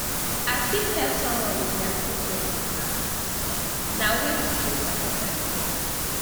i fit help someone with dia project na um way to show support and care